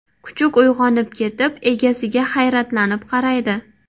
Kuchuk uyg‘onib ketib, egasiga hayratlanib qaraydi.